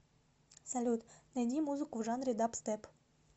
салют найди музыку в жанре дабстеп